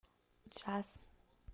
джаз